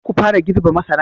Kar ku fara girbe masaran!